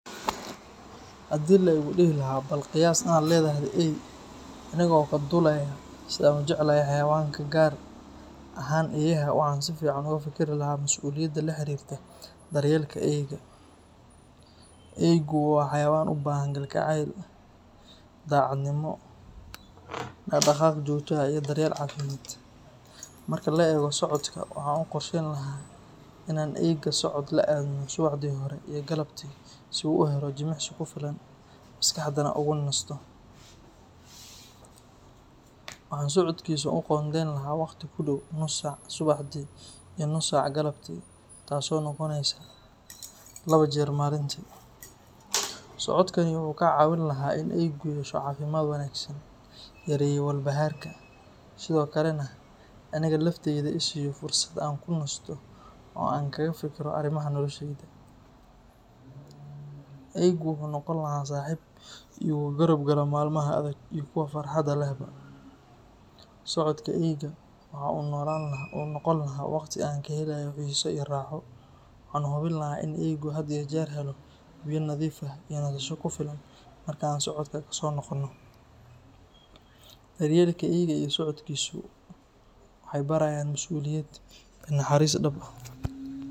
Haddii la igu dhihi lahaa bal qiyaas inaad leedahay eey, aniga oo ka duulaya sida aan u jecelahay xayawaanka gaar ahaan eeyaha, waxaan si fiican uga fikir lahaa mas'uuliyadda la xiriirta daryeelka eeyga. Eeygu waa xayawaan u baahan kalgacayl, daacadnimo, dhaq-dhaqaaq joogto ah iyo daryeel caafimaad. Marka la eego socodka, waxaan u qorsheyn lahaa in aan eeyga socod la aadno subaxdii hore iyo galabtii si uu u helo jimicsi ku filan, maskaxdana ugu nasto. Waxaan socodkiisa u qoondeyn lahaa waqti ku dhow nus saac subaxdii iyo nus saac galabtii, taas oo noqonaysa laba jeer maalintii. Socodkani wuxuu ka caawin lahaa in eeygu yeesho caafimaad wanaagsan, yareeyo walbahaarka, sidoo kalena aniga laftayda i siiyo fursad aan ku nasto oo aan kaga fekero arrimaha noloshayda. Eeygu wuxuu noqon lahaa saaxiib igu garab gala maalmaha adag iyo kuwa farxadda lehba. Socodka eeyga waxa uu noqon lahaa waqti aan ka helayo xiiso iyo raaxo, waxaana hubin lahaa in eeygu had iyo jeer helo biyo nadiif ah iyo nasasho ku filan marka aan socodka ka soo noqonno. Daryeelka eeyga iyo socodkiisu waxay barayaan masuuliyad iyo naxariis dhab ah.